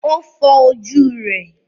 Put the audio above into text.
ó fọ ojú rẹ̀.